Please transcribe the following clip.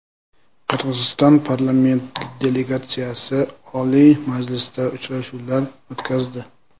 Qirg‘iziston parlament delegatsiyasi Oliy Majlisda uchrashuvlar o‘tkazdi.